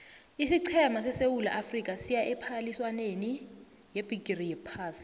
isiqhema sesewula afrika siya ephaliswaneni yebhigiri yephasi